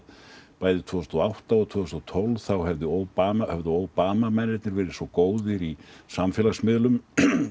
bæði tvö þúsund og átta og tvö þúsund og tólf þá hefðu Obama hefðu Obama mennirnir verið svo góðir í samfélagsmiðlum